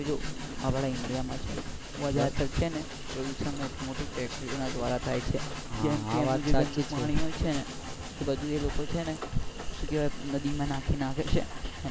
જો ઇન્ડિયા માં છે ને વધારે તો છે ને પ્રદુશન તો છૅ ને મોટી મોટી ફેક્ટરીઓ ના દ્વારા થાય છે જેમ કે એનું પાણી હોય છે ને એ લોકો નદી માં માં નાખે છે.